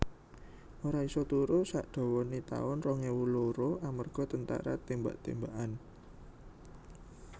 Ora iso turu sak dawane taun rong ewu loro amarga tentara tembak tembakan